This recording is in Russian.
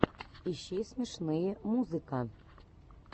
ищи смешные музыка